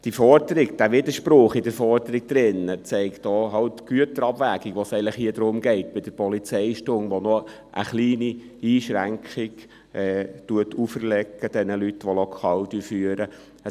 Diesen Widerspruch in der Forderung zeigt auch die Güterabwägung, um die es hier bei der Polizeistunde eigentlich geht und die den Leuten, die Lokale führen, noch eine kleine Einschränkung auferlegt.